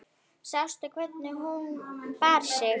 Sástu hvernig hún bar sig.